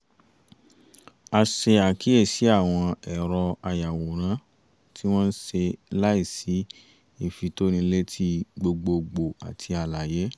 a ṣe àkíyèsi àwọn ẹ̀rọ ayàwòrán tí wọ́n ṣe láì sí ìfitónilétí gbogbogbò àti àlàyé